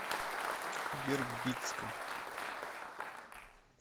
вербицком